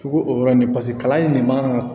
Fugu o yɔrɔ nin paseke kalan in ne man ka